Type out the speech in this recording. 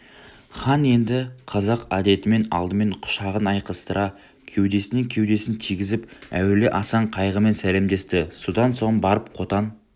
хан енді қазақ әдетімен алдымен құшағын айқастыра кеудесіне кеудесін тигізіп әуелі асан қайғымен сәлемдесті содан соң барып қотан